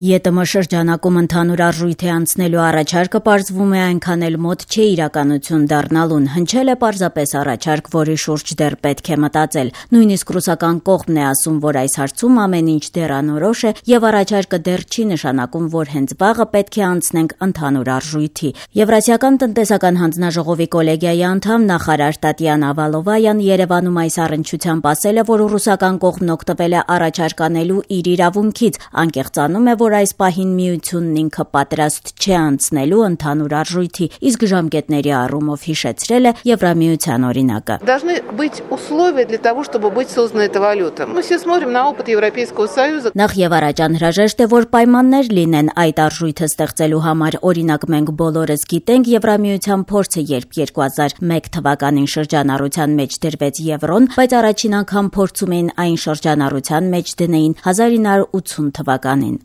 ԵՏՄ- ում ընդհանուր արժույթի անցնելու առաջարկը, պարզվում է, այնքան էլ մոտ չէ իրականություն դառնալու համար: Հնչել է պարզապես առաջարկ, որի շուրջ դեռ պետք է մտածել: Նույնիսկ ռուսական կողմն է ասում, որ այս հարցում ամեն ինչ դեռ անորոշ է, եւ առաջարկը դեռ չի նշանակում, որ հենց վաղը պետք է անցնենք ընդհանուր արժույթի: Եվրասիական տնտեսական հանձնաժողովի կոլեգիայի անդամ, նախարար Տատյանա Վալովայան Երեւանում այս առնչությամբ ասաց, որ ռուսական կողմն օգտվել է առաջարկ անելու իր իրավունքից, անկեղծանում է, որ այս պահին միությունն ինքը պատրաստ չէ անցնելու ընդհանուր արժույթի, իսկ ժամկետների առումով հիշեցրել է Եվրամիության օրինակը: «Նախ եւ առաջ անհրաժեշտ է, որ պայմաններ լինեն այդ արժույթը ստեղծելու համար: Օրինակ՝ մենք բոլոր գիտենք ԵՄ փորձը, երբ 2001 թվականին շրջանառության մեջ դրվեց եվրոն, բայց առաջին անգամ փորձում էին այն շրջանառության մեջ դնել 1980 թվականին»: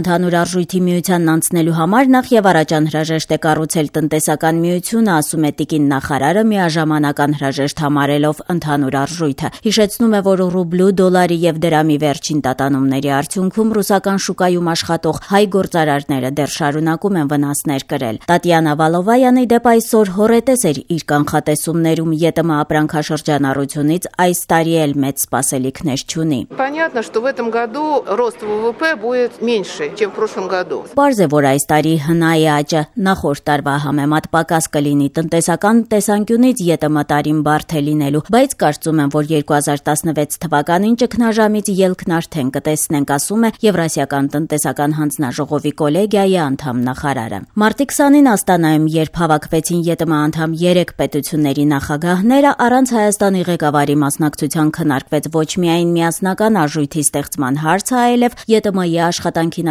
Ընդհանուր արժույթի անցնելու համար նախ եւ առաջ անհրաժեշտ է կառուցել տնտեսական միությունը, ասում է տիկին նախարարը՝ միաժամանակ անհրաժեշտ համարելով ընդհանուր արժույթը: Հիշեցնում է, որ ռուբլու, դոլարի եւ դրամի վերջին տատանումների արդյունքում ռուսական շուկայում աշխատող հայ գործարարները դեռ շարունակում են վնասներ կրել: Տատյանա Վալովայան, ի դեպ, այսօր հոռետես էր իր կանխատեսումներում: ԵՏՄ ապրանքաշրջանառությունից այս տարի էլ մեծ սպասելիքներ չունի: «Ամեն դեպքում պարզ է, որ այս տարի ՀՆԱ-ի աճը՝ նախորդ տարվա համեմատ, պակաս կլինի: Տնտեսական տեսանկյունից ԵՏՄ տարին բարդ է լինելու, բայց կարծում եմ, որ 2016 թվականին ճգնաժամից ելքն արդեն կտեսնենք»,- ասում է Եվրասիական տնտեսական հանձնաժողովի կոլեգիայի անդամ նախարարը։ Մարտի 20-ին Աստանայում, երբ հավաքվեցին ԵՏՄ անդամ երեք պետությունների նախագահները՝ առանց Հայաստանի ղեկավարի, քննարկվեց ոչ միայն միասնական արժույթի ստեղծման հարցը, այլեւ ԵՏՄ աշխատանքին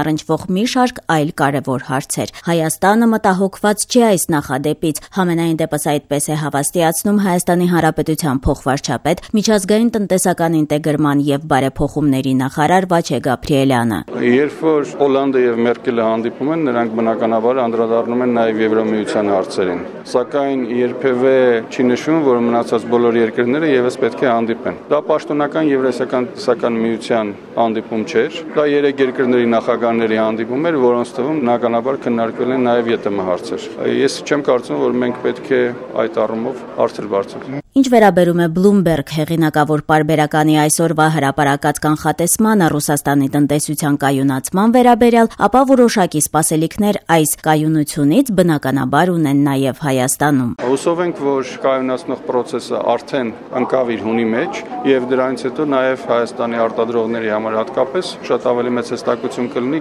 առնչվող մի շարք այլ կարեւոր հարցեր: Հայաստանը մտահոգված չէ այս նախադեպից։ Համենայնդեպս՝ այդպես է հավաստիացնում ՀՀ փոխվարչապետ, միջազգային տնտեսական ինտեգրման եւ բարեփոխումների նախարար Վաչե Գաբրիելյանը: «Երբ Օլանդը եւ Մերկելը հանդիպում են, նրանք, բնականաբար, անդրադառնում են նաեւ ԵՄ հարցերին, սակայն երբեւէ չի նշվում, որ մնացած բոլոր երկրները եւս պետք է հանդիպեն: Դա ԵՏՄ պաշտոնական հանդիպում չէր, դա երեք երկրների նախագահների հանդիպում էր, որոնց թվում, բնականաբար, քննարկվել են նաեւ ԵՏՄ հարցեր: Ես չեմ կարծում, որ մենք պետք է այդ առումով հարցեր բարձրացնենք»,- ասում է։ Ինչ վերաբերում է «Բլումբերգ» հեղինակավոր պարբերականի այսօրվա կանխատեսմանը՝ Ռուսաստանի տնտեսության կայունացման վերաբերյալ, ապա որոշակի սպասելիքներ այս կայությունից, բնականաբար ունեն նաեւ Հայաստանում: «Հուսով ենք, որ կայունացնող պրոցեսն արդեն ընկավ իր հունի մեջ եւ դրանից հետո նաեւ Հայաստանի արտադրողների համար հատկապես շատ ավելի մեծ հստակություն կլինի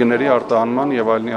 գների արտահանման եւ այլնի